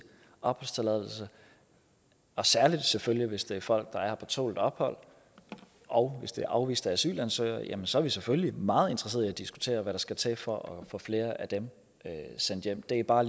opholdstilladelse og særlig selvfølgelig hvis det er folk der er her på tålt ophold og hvis det er afviste asylansøgere ja så er vi selvfølgelig meget interesseret i at diskutere hvad der skal til for at få flere af dem sendt hjem det er bare